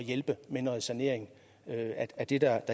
hjælpe med noget sanering er det der